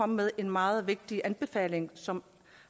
med en meget vigtig anbefaling som